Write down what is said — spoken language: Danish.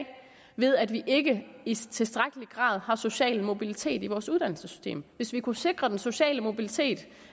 ved at vi ikke i tilstrækkelig grad har social mobilitet i vores uddannelsessystem hvis vi kunne sikre den sociale mobilitet